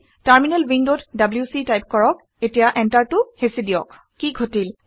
terminal উইণ্ডত W C type কৰক এতিয়া এন্টাৰটো হেঁচি দিয়ক কি ঘটিল